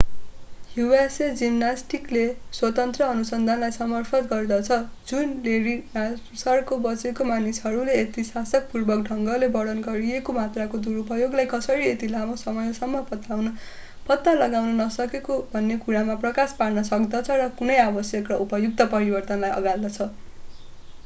usa जिमनास्टिक्सले स्वतन्त्र अनुसन्धानलाई समर्थन गर्दछ जुन लेरी नासारका बचेका मानिसहरूले यति साहसपूर्वक ढंगले वर्णन गरिएको मात्राको दुरुपयोगलाई कसरी यति लामो समयसम्म पत्ता लगाउन नसकेको भन्ने कुरामा प्रकाश पार्न सक्दछ र कुनै आवश्यक र उपयुक्त परिवर्तनलाई अँगाल्दछ